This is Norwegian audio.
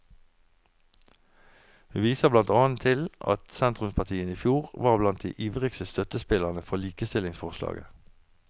Hun viser blant annet til at sentrumspartiene i fjor var blant de ivrigste støttespillerne for likestillingsforslaget.